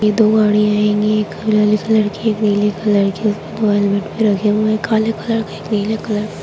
ये दो गाड़ी हिय एक हरे कलर की एक नीली कलर की रखे हुए है दो हेलमेट रखे हुए है एक काले के एक नीले कलर के।